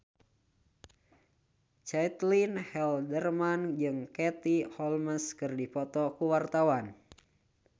Caitlin Halderman jeung Katie Holmes keur dipoto ku wartawan